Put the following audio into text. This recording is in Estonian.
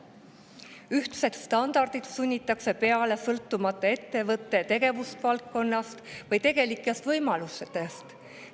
Ühtset standardit sunnitakse peale, sõltumata ettevõtte tegevusvaldkonnast või tegelikest võimalustest.